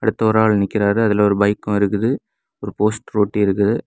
எட்ட ஒரு ஆளு நிக்குறாரு அதுல ஒரு பைக்கும் இருக்குது ஒரு போஸ்ட்ரு ஒட்டி இருக்குது.